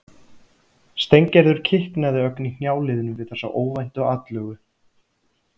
Steingerður kiknaði ögn í hnjáliðunum við þessa óvæntu atlögu.